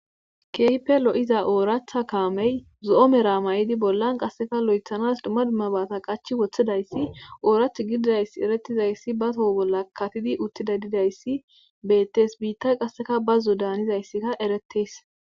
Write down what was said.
Keehippe lo'iza ooratha kaamey zo'omera may'idi bollan qasseka lo'ethanas dumma dumma baata qachi woththidayssi oorath gididayss eretizayssi ba toho bolla katidi uttida didayssi beettes biitta qasseka bazzo daanizayssika eretees.